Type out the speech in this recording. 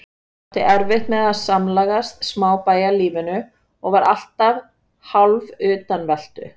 Ég átti erfitt með að samlagast smábæjarlífinu og var alltaf hálfutanveltu.